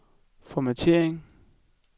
formattering